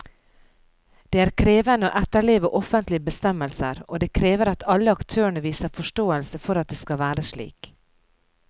Det er krevende å etterleve offentlige bestemmelser, og det krever at alle aktørene viser forståelse for at det skal være slik.